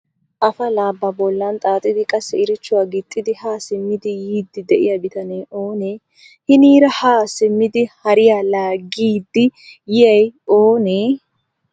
Afalaa ba bollan xaaxxidi qassi iirichuwa gixxidi ha simmidi yiidi de'iyaa bitanee oonee? Hiniira ha simmidi hariya laaggidi yiyyay oonee?